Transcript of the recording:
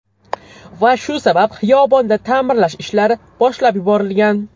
Va shu sabab xiyobonda ta’mirlash ishlari boshlab yuborilgan.